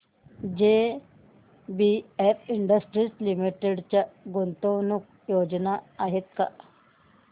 JBF industries limited च्या गुंतवणूक योजना आहेत का